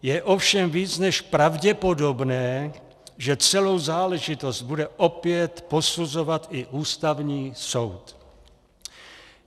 Je ovšem víc než pravděpodobné, že celou záležitost bude opět posuzovat i Ústavní soud.